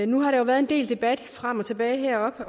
nu har der været en del debat frem og tilbage heroppe